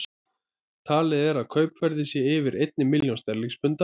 Talið er að kaupverðið sé yfir ein milljón sterlingspunda.